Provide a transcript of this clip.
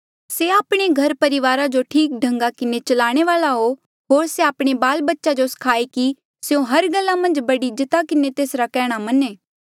से आपणे घरापरिवारा जो ठीक ढंगा किन्हें चलाणे वाल्आ हो होर से आपणे बालबच्चे जो स्खायें कि स्यों हर गल्ला मन्झ बड़ी इज्जता किन्हें तेसरा केहणा मन्हें